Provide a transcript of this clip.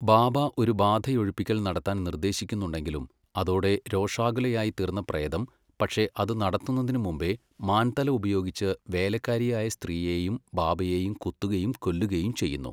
ബാബ ഒരു ബാധയൊഴിപ്പിക്കൽ നടത്താൻ നിർദ്ദേശിക്കുന്നുണ്ടെങ്കിലും അതോടെ രോഷാകുലയായിത്തീർന്ന പ്രേതം പക്ഷേ അത് നടത്തുന്നതിനുമുമ്പേ മാൻതല ഉപയോഗിച്ച് വേലക്കാരിയായ സ്ത്രീയെയും ബാബയെയും കുത്തുകയും കൊല്ലുകയും ചെയ്യുന്നു.